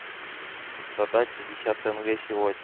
продать пятьдесят тенге сегодня